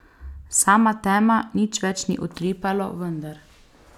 Sama tema, nič več ni utripalo, vendar ...